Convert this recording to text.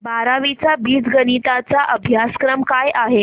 बारावी चा बीजगणिता चा अभ्यासक्रम काय आहे